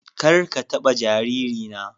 ƙar ka taɗa jaririna.